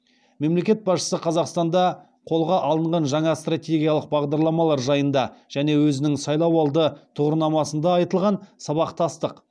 мемлекет басшысы қазақстанда қолға алынған жаңа стратегиялық бағдарламалар жайында және өзінің сайлауалды тұғырнамасында айтылған сабақтастық